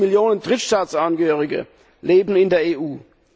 20 Millionen Drittstaatsangehörige leben in der EU.